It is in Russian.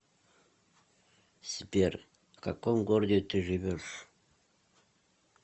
сбер в каком городе ты живешь